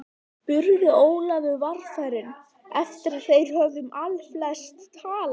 spurði Ólafur varfærinn eftir að þeir höfðu um allflest talað.